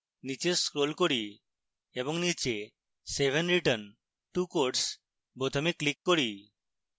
নীচে scroll করি এবং নীচে save and return to course বোতামে click করি